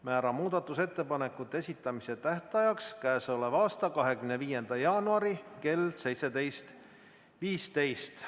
Määran muudatusettepanekute esitamise tähtajaks k.a 25. jaanuari kell 17.15.